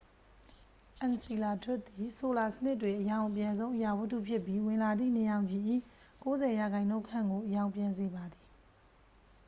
အန်စီလာဒွတ်စ်သည် ဆိုလာစနစ်တွင် အရောင်အပြန်ဆုံး အရာဝတ္ထုဖြစ်ပြီး ဝင်လာသည့် နေရောင်ခြည်၏ 90 ရာခိုင်နှုန်းခန့်ကို အရောင်ပြန်စေပါသည်